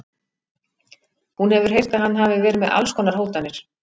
Hún hefur heyrt að hann hafi verið með alls konar hótanir.